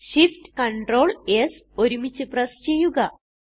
Shift Ctrl S ഒരുമിച്ച് press ചെയ്യുക